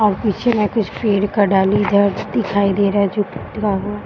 और पीछे मे कुछ पेड़ का डाली इधर दिखाई दे रहे है जो टूटा हुआ है।